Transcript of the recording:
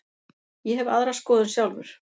Ég hef aðra skoðun sjálfur.